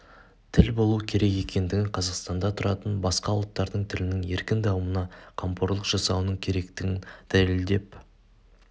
тіл болуы керек екендігін қазақстанда тұратын басқа ұлттардың тілінің еркін дамуына камқорлық жасауының керектігін дәлелдеп